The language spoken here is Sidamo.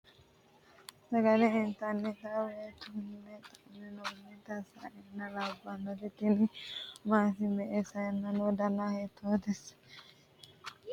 sagale intannita woy tu'ne maaxi'nannita sayine labbanoti tini maati me'e sayine no dana hiito sayinna no mayi horo heedhannonsa wole ?